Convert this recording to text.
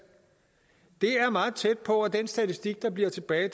det er meget tæt på at den statistik der bliver tilbage